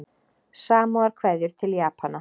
Samúðarkveðjur til Japana